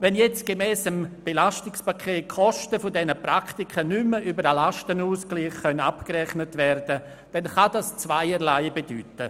Wenn jetzt gemäss dem EP die Kosten dieser Praktika nicht mehr über den Lastenausgleich abgerechnet werden können, kann dies Zweierlei bedeuten.